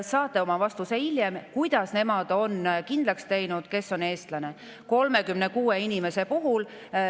Saate hiljem vastuse, kuidas nemad on kindlaks teinud, kes on eestlane , nende 36 inimese puhul.